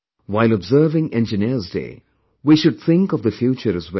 While observing Engineers Day, we should think of the future as well